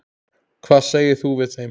Hvað segir þú við þeim?